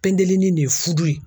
Pendelini de ye fudo ye.